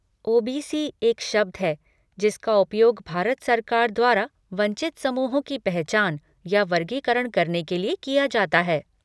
OBC. एक शब्द है जिसका उपयोग भारत सरकार द्वारा वंचित समूहों की पहचान या वर्गीकरण करने के लिए किया जाता है।